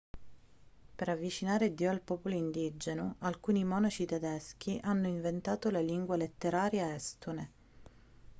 per avvicinare dio al popolo indigeno alcuni monaci tedeschi hanno inventato la lingua letteraria estone